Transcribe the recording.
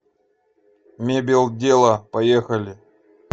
мебелдела поехали